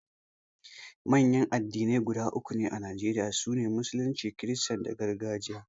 Manyan addinai guda uku ne a Najeriya, su ne, Musulunci, Kirista da Gargajiya.